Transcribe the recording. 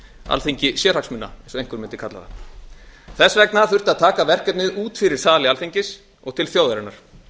alþingi sérhagsmuna eins og einhver mundi kallað það þess vegna þurfti að taka verkefnið út fyrir sali alþingis og til þjóðarinnar